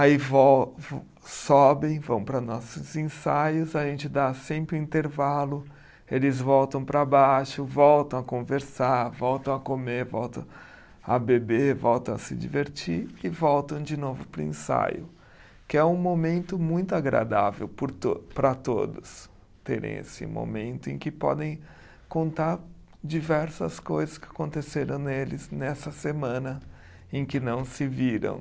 Aí vo, sobem, vão para nossos ensaios, a gente dá sempre um intervalo, eles voltam para baixo, voltam a conversar, voltam a comer, voltam a beber, voltam a se divertir e voltam de novo para o ensaio, que é um momento muito agradável por to, para todos terem esse momento em que podem contar diversas coisas que aconteceram neles nessa semana em que não se viram.